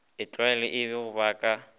e tlwael egilego ba ka